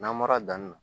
N'an bɔra danni na